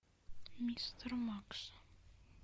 мистер макс